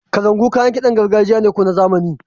Kalangu kayan kiɗan gargajiya ne ko na zamani? --